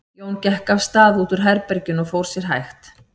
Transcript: Jón gekk af stað út úr herberginu og fór sér hægt.